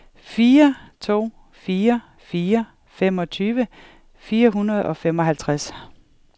fire to fire fire femogtyve fire hundrede og femoghalvtreds